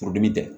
Furudimi tɛ